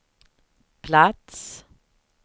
plats